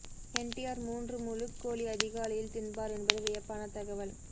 என் T R மூன்று் முழுக்கோழி அதிகாலையில் தின்பார் என்பது வியப்பான தகவல்